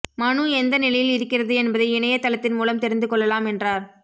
மனு எந்த நிலையில் இருக்கிறது என்பதை இணைய தளத்தின் மூலம் தெரிந்து கொள்ளலாம் என்றார்